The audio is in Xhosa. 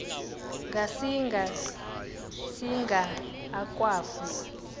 ngasinga singa akwafu